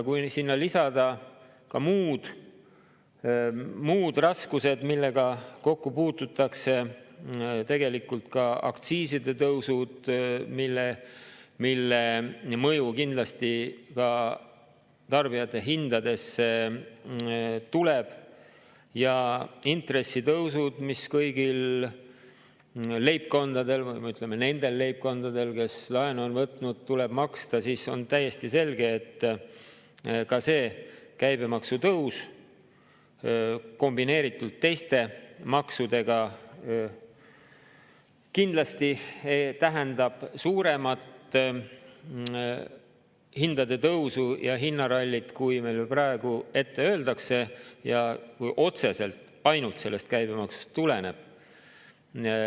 Kui sinna lisada ka muud raskused, millega kokku puututakse, tegelikult ka aktsiiside tõusud, mille mõju kindlasti ka tarbijahindadesse tuleb, ja intressitõusud, mis kõigil nendel leibkondadel, kes laenu on võtnud, tuleb maksta, siis on täiesti selge, et ka see käibemaksu tõus kombineeritult teiste maksudega kindlasti tähendab suuremat hindade tõusu ja hinnarallit, kui meil praegu ette öeldakse, ja otseselt ainult sellest käibemaks tuleneb.